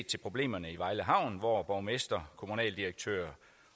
til problemerne i vejle havn hvor borgmester kommunaldirektør